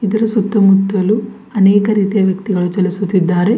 ಇದರ ಸುತ್ತಮುತ್ತಲು ಅನೇಕ ರೀತಿಯ ವ್ಯಕ್ತಿಗಳು ಚಲಿಸುತ್ತಿದ್ದಾರೆ.